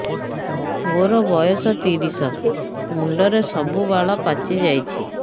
ମୋର ବୟସ ତିରିଶ ମୁଣ୍ଡରେ ସବୁ ବାଳ ପାଚିଯାଇଛି